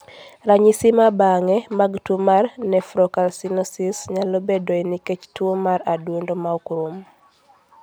Ranyisi ma bang'e mag tuwo mar nephrocalcinosis nyalo bedoe nikech tuwo mar adundo ma ok rum.